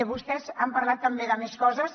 vostès han parlat també de més coses